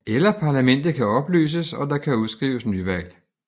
Eller parlamentet kan opløses og der kan udskrives nyvalg